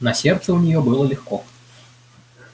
на сердце у неё было легко